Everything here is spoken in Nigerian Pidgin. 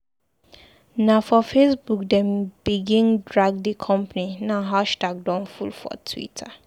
Na for Facebook dem begin drag di company now hashtag don full for Twitter.